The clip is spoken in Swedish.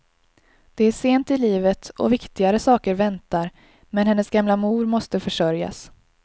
Det är sent i livet och viktigare saker väntar men, hennes gamla mor måste försörjas.